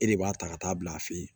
E de b'a ta ka taa bila a fe yen